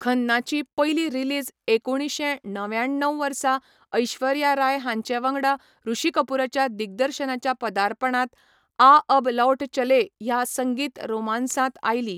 खन्नाची पयली रिलीज एकुणशे णव्याण्णव वर्सा ऐश्वर्या राय हांचे वांगडा ऋषि कपूराच्या दिग्दर्शनाच्या पदार्पणांत 'आ अब लौट चलें' ह्या संगीत रोमान्सांत आयली.